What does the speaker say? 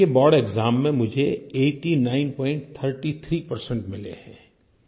के board exam में मुझे 8933 परसेंट मिले हैं